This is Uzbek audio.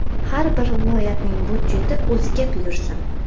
Har bir viloyatning budjeti o‘ziga buyursin.